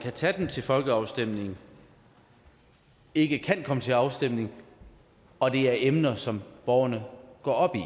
kan tage dem til folkeafstemning ikke kan komme til afstemning og at det er emner som borgerne går op i